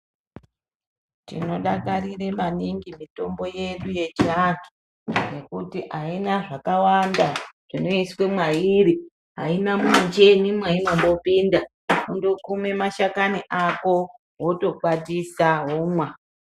Tinodakarira maningi mitombo yedu yechiantu nekuti aina zvakawanda zvinoiswa mwairi aina mumuchini mwainombopinda kundokuma mashakani Ako wotokwatisa womwa.